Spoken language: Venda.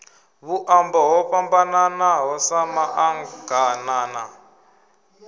vhuṱambo ho fhambananaho sa maḓaganana